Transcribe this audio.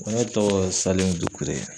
Ne tɔgɔ Salim Dukure